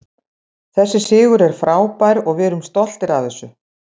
Þessi sigur er frábær og við erum stoltir af þessu.